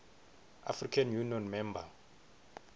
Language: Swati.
african union member